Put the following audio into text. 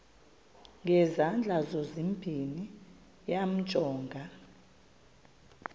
ngezandla zozibini yamjonga